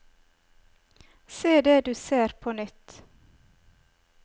Se det du ser på nytt.